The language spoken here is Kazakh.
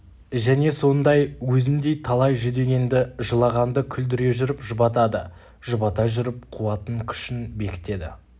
және сондай өзіндей талай жүдегенді жылағанды күлдіре жүріп жұбатады жұбата жүріп қуатын күшін бекітеді